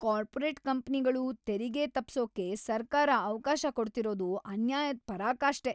Corporate ಕಂಪ್ನಿಗಳು ತೆರಿಗೆ ತಪ್ಸೋಕೆ ಸರ್ಕಾರ ಅವ್ಕಾಶ ಕೊಡ್ತಿರೋದು ಅನ್ಯಾಯದ್‌ ಪರಾಕಾಷ್ಠೆ.